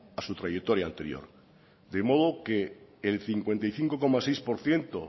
a su trayectoria anterior de modo que el cincuenta y cinco coma seis por ciento